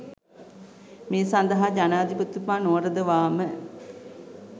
මේ සඳහා ජනාධිපතිතුමා නොවරදවා ම